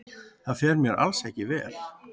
Það fer mér bara alls ekki vel.